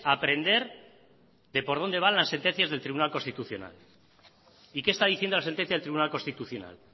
aprender de por dónde van las sentencias del tribunal constitucional y qué está diciendo la sentencia del tribunal constitucional